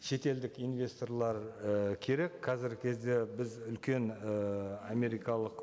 шетелдік инвесторлар і керек қазіргі кезде біз үлкен і америкалық